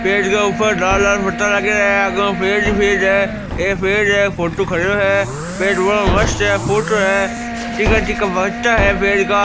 पेड़ के ऊपर लाल लाल पत्ता लागे है आगहु पेड़ ही पेड़ है एक पेड़ है फोटू खड्यो है पेड़ बहुत मस्त है फूटरो है तिका तिका पत्ता है पेड़ का।